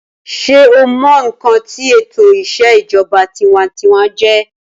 sé o mọ ǹkan tí ètò ìṣèjọba tinwatinwa jẹ́?